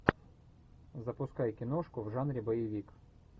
запускай киношку в жанре боевик